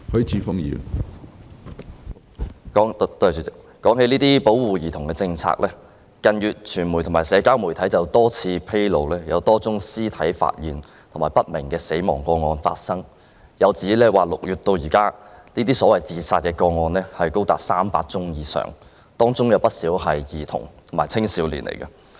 主席，說到保護兒童政策，傳媒及社交媒體於近月曾披露多宗屍體發現及死因不明個案，並指出從6月至今，這類所謂自殺個案高達300宗以上，當中有不少涉及兒童及青少年。